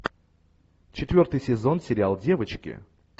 четвертый сезон сериал девочки